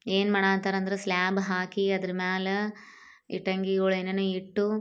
ಏನ್ ಮಾಡಹತ್ತಾರ್ ಅಂದ್ರೆ ಸ್ಲಾಬ್ ಹಾಕಿ ಅದ್ರ ಮ್ಯಾಲೆ ಇಟ್ಟಣಿಗಳು ಏನೇನು ಇಟ್ಟು.